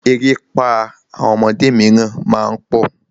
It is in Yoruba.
Erépá àwọn ọmọdé míràn má ń pọ̀.